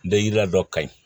Dajira dɔ ka ɲi